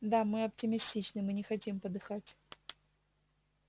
да мы оптимистичны мы не хотим подыхать